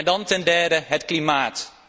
Dan ten derde het klimaat.